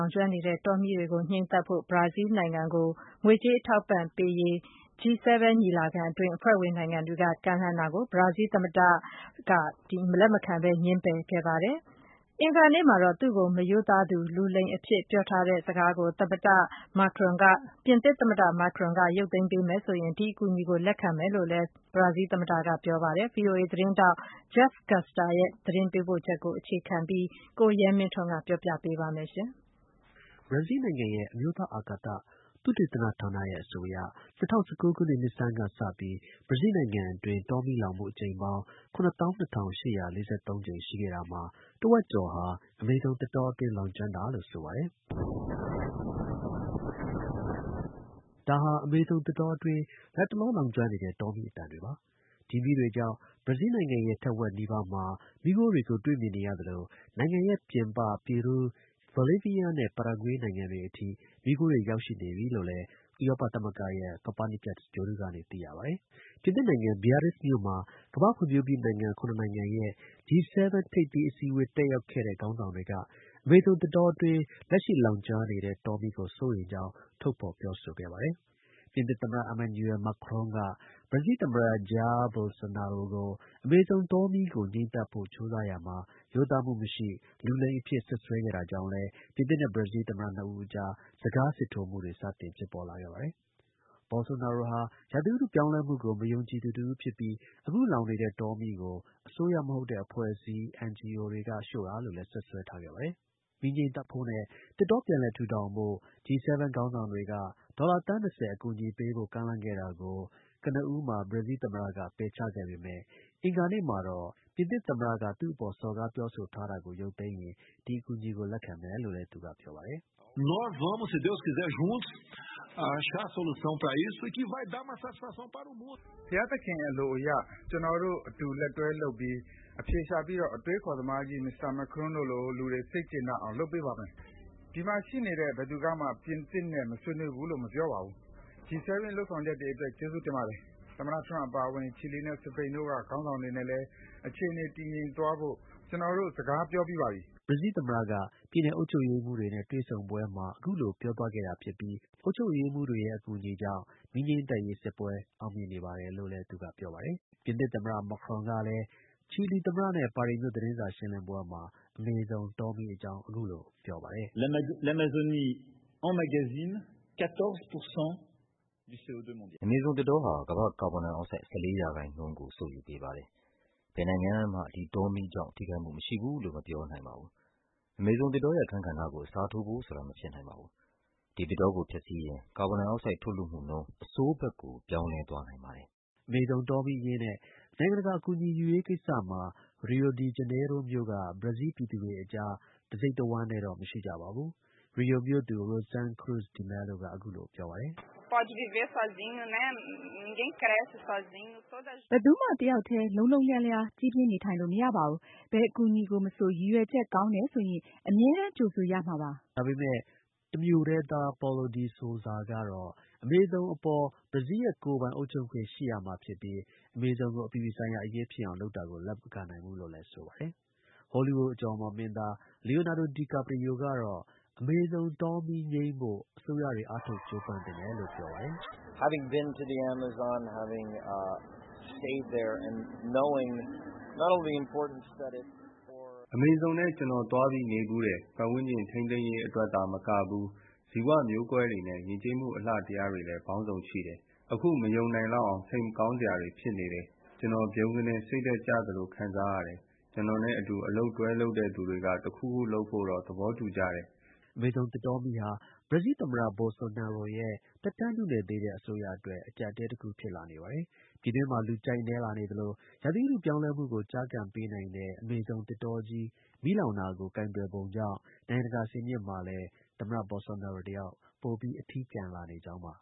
ာင်ကျွမ်းနေတဲ့ တောမီးတွေ ငြိမ်းသတ်ဖို့အတွက် ဘရာဇီးလ်နိုင်ငံကို ငွေကြေး အထောက်အပံ့ပေးဖို့ G7 ညီလာခံအတွင်း အဖွဲ့ဝင်နိုင်ငံတွေက ကမ်းလှမ်းတာကို ဘရာဇီးလ် သမ္မတ Jair Bolsonaro က လက်မခံပဲ ပယ်ချခဲ့ပါတယ်။ အင်္ဂါနေ့မှာတော့ သူ့ကို မရိုးသားသူ လူလိမ်အဖြစ် ပြောထားတဲ့စကားကို ပြင်သစ် သမ္မတ Macron က ရုပ်သိမ်းပေးမယ် ဆိုရင် ဒီ အကူအညီကို လက်ခံမယ်လို့လည်း ဘရာဇီးလ် သမ္မတက ပြောပါတယ်။ ဗွီအိုအေ သတင်းထောက် Jeff Custer ရဲ့ သတင်းပေးပို့ချက်ကို အခြေခံပြီး ကိုရဲမင်းထွန်းက တင်ပြပေးပါမယ်။ ဘရာဇီးလ်နိုင်ငံရဲ့ အမျိုးသား အာကာသ သုတေသနဌာနရဲ့ အဆိုအရ ၂၀၁၉ ခုနှစ် နှစ်ဆန်းကစပြီး ဘရာဇီးလ် နိုင်ငံအတွင်း တောမီး လောင်မှု အကြိမ်ပေါင်း ၇၂၈၄၃ ရှိခဲ့တာမှာ တစ်ဝက်ကျော်ဟာ အမေဇုံ သစ်တောအတွင်း လောင်ကျွမ်းတာလို့ ဆိုပါတယ်။ ဒီမီးတွေကြောင့် ဘရာဇီးလ်နိုင်ငံရဲ့ တစ်ဝက်နီးပါးမှာ မီးခိုးတွေကို တွေ့မြင်နေရသလို နိုင်ငံရဲ့ ပြင်ပ ပီရူး၊ ဘိုလီးဗီးယားနဲ့ ပါရာဂွေးနိုင်ငံတွေအထိ မီးခိုးတွေ ရောက်ရှိ နေပြီလို့လည်း ဥရောပသမဂ္ဂရဲ့ Copernicus ဂြိုလ်တုကနေ သိရှိရပါတယ်။ ပြင်သစ်နိုင်ငံ Beirrizt မြို့မှာ ကမ္ဘာ့ ဖွံ့ဖြိုးပြီးနိုင်ငံ ၇ နိုင်ငံရဲ့ G7 ထိပ်သီး အစည်းအဝေး တက်ရောက်နေတဲ့ ခေါင်းဆောင်တွေက အမေဇုံ သစ်တောအတွင်း လက်ရှိ လောင်ကျွမ်းနေတဲ့ တောမီးကို စိုးရိမ်ကြောင်း ထုတ်ဖော် ပြောဆိုပါတယ်။ ပြင်သစ် သမ္မတ Emmanuel Macron က ဘရာဇီးလ် သမ္မတ Jair Bolsonaro ကို အမေဇုံ တောမီးကို ငြှိမ်းသတ်ဖို့ကြိုးစားရာမှာ ရိုးသားမှု မရှိ၊ လူလိမ်အဖြစ် စွပ်စွဲခဲ့တာကြောင့် လည်း ပြင်သစ်နဲ့ ဘရာဇီးလ် သမ္မတနှစ်ဦးအကြား စကား စစ်ထိုးမှုတွေ စတင်ဖြစ်ပေါ်လာခဲ့ပါတယ်။ Bolsonaro ဟာ ရာသီဥတု ပြောင်းလဲမှု ကို မယုံကြည်သူတစ်ဦးဖြစ်ပြီး အခု လောင်နေတဲ့ တောမီးကို အစိုးရ မဟုတ်တဲ့ အဖွဲ့အစည်း NGO တွေက ရှို့တာလို့လည်း စွပ်စွဲခဲ့ပါတယ်။ မီးငြိမ်းသတ်ဖို့နဲ့ သစ်တော ပြန်လည်ထူထောင်ဖို့ G7 ခေါင်းဆောင်တွေက ဒေါ်လာ သန်း ၂၀ ကျော် အကူအညီပေးဖို့ ကမ်းလှမ်းခဲ့တာကို ကနဦးမှာ ပယ်ချခဲ့ပေမဲ့ အင်္ဂါနေ့မှာတော့ ပြင်သစ် သမ္မတက သူ့အပေါ် စော်ကားပြော ဆိုတာကို ရုပ်သိမ်းရင် ဒီ အကူအညီကို လက်ခံမယ်လို့ ဘရာဇီးလ် သမ္မတက ပြောပါတယ်။ “ဘုရားသခင် အလိုအရ ကျွန်တော်တို့ အလုပ်အတူ လက်တွဲလုပ်ပြီး အဖြေရှာပြီးတော့ အတွေးအခေါ်သမားကြီး Mr. Macron တို့လို လူတွေ စိတ်ကျေနပ်အောင် လုပ်ပေးပါမယ်။ ဒီမှာ ရှိနေတဲ့ ဘယ်သူကမှ ပြင်သစ်နဲ့မဆွေးနွေးဘူးလို့ မပြောပါဘူး။ G7 ရဲ့လုပ်ဆောင်ချက်တွေအတွက် ကျေးဇူးတင်ပါတယ်။ သမ္မတ ထရမ့်အပါအဝင် ချီလီနဲ့ စပိန်တို့က ခေါင်းဆောင်တွေ နဲ့လည်း အခြေအနေ တည်ငြိမ်သွားဖို့ ကျွန်တော် စကားပြောပြီးပါပြီ။” ဘရာဇီးလ် သမ္မတက ပြည်နယ် အုပ်ချုပ်ရေးမှူးတွေနဲ့ တွေ့ဆုံပွဲမှာ အခုလို ပြောသွားခဲ့တာဖြစ်ပြီး အုပ်ချုပ်ရေးမှူးတွေရဲ့ အကူအညီ ကြောင့် မီးငြိမ်းသတ်ရေး စစ်ပွဲ အောင်မြင်နေပါတယ်လို့လည်း ပြောပါတယ်။ ပြင်သစ် သမ္မတ Macron ကလည်း ချီလီသမ္မတနဲ့ ပါရီမြို့ သတင်းစာ ရှင်းလင်းပွဲမှာ အမေဇုံ တောမီးအကြောင်း အခုလို ပြောပါတယ်။ “အမေဇုံ သစ်တောဟာ ကမ္ဘာ့ ကာဗွန်ဒိုင်အောင်ဆိုဒ် ၁၄ ရာခိုင်နှုန်းကို စုပ်ယူပေးပါတယ်။ ဘယ်နိုင်ငံကမှာ ဒီ တောမီးကြောင့် ထိခိုက်မှု မရှိဘူးလို့ မပြောနိုင်ပါဘူး။ အမေဇုံ သစ်တောရဲ့ အခန်းကဏ္ဍကို အစားထိုးဖို့ဆိုတာ မဖြစ်နိုင်ပါဘူး။ ဒီ သစ်တောကို ဖျက်ဆီးရင် ကာဗွန်ဒိုင် အောက်ဆိုဒ် ထုတ်လွှတ်မှုနှုန်း အဆိုးဘက်ကို ပြောင်းလဲသွားနိုင်ပါတယ်။” အမေဇုံ တောမီးအရေးနဲ့ နိုင်ငံတကာ အကူအညီ ယူရေးကိစ္စမှာ ရီယိုဒီ ဂျနေရိုးမြို့က ဘရာဇီးလ် ပြည်သူတွေအကြား တစ်စိတ်တစ်ဝမ်းတည်း တော့ မရှိကြပါဘူး။ ရီယို မြို့သူ Rosane Cruz De Melo က အခုလို ပြောပါတယ်။ “ဘယ်သူမှ တစ်ယောက်တည်း လုံးလုံးလျားလျား ကြီးပြင်း နေထိုင်လို့ မရပါဘူး။ ဘယ် အကူအညီကို မဆို ရည်ရွယ်ချက် ကောင်းတယ်ဆိုရင် အမြဲတမ်း ကြိုဆိုရမှာပါပဲ။” တစ်မြို့တည်းသား Paulo de Souza ကတော့ အမေဇုံအပေါ် ဘရားဇီးလ်ရဲ့ ကိုယ်ပိုင် အုပ်ချုပ်ခွင့် ရှိရမှာဖြစ်ပြီး အမေဇုံကို အပြည်ပြည် ဆိုင်ရာ အရေးဖြစ်အောင်လုပ်တာကို လက်မခံနိုင်ဘူးလို့ ဆိုပါတယ်။ Hollywood အကျော်အမော် မင်းသား Leonado Di Carprio ကတော့ အမေဇုံ တောမီး ငြိမ်းဖို့ အစိုးရတွေ အားထုတ် ကြိုးပမ်း သင့်တယ်လို့ ပြောပါတယ်။ “အမေဇုံထဲ ကျွန်တော် သွားပြီးနေဖူးတယ်။ ပတ်ဝန်းကျင် ထိန်းသိမ်းရေးအတွက် သာမကဘူး ဇီဝမျိုးကွဲတွေနဲ့ ယဉ်ကျေးမှု အလှတရားတွေ လည်း ပေါင်းစုံရှိတယ်။ အခု မယုံနိုင်လောက်အောင် စိတ်မကောင်းစရာတွေ ဖြစ်နေတယ်။ ကျွန်တော် ဗြုန်းကနဲ့ စိတ်ဓါတ် ကျသလို ခံစားရတယ်။ ကျွန်တော်နဲ့ အတူ အလုပ်တွဲလုပ်သူတွေက တစ်ခုခု လုပ်ဖို့တော့ သဘောတူကြတယ်။” အမေဇုံ သစ်တောမီးဟာ ဘရာဇီးလ် သမ္မတ Bosolnaro ရဲ့ သက်တမ်းနုနယ် သေးတဲ့ အစိုးရအတွက် အကျပ်အတည်း တစ်ခု ဖြစ်လာ နေပါတယ်။ ပြည်တွင်းမှာ လူကြိုက်နည်းလာနေသလို ရာသီဥတု ပြောင်းလဲမှုကို ကျားကန်ပေးနိုင်တဲ့ အမေဇုံ သစ်တာကြီး မီးလောင်တာကို ကိုင်တွယ်ပုံကြောင့် နိုင်ငံတကာ စင်မြင့်မှာလည်း သမ္မတ Bolsonaro တစ်ယောက် ပိုပြီး အထီးကျန်လာနေကြောင်းပါ